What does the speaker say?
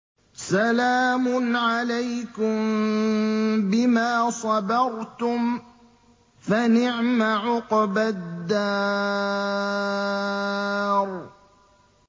سَلَامٌ عَلَيْكُم بِمَا صَبَرْتُمْ ۚ فَنِعْمَ عُقْبَى الدَّارِ